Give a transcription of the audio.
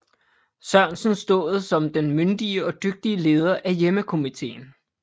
Sørensen stået som den myndige og dygtige leder af hjemmekomiteen